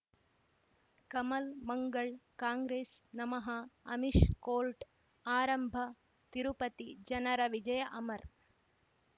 ಕಮಲ್ ಮಂಗಳ್ ಕಾಂಗ್ರೆಸ್ ನಮಃ ಅಮಿಷ್ ಕೋರ್ಟ್ ಆರಂಭ ತಿರುಪತಿ ಜನರ ವಿಜಯ ಅಮರ್